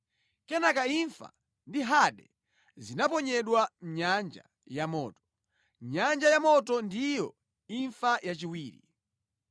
Kenaka imfa ndi Hade zinaponyedwa mʼnyanja ya moto. Nyanja yamoto ndiyo imfa yachiwiri.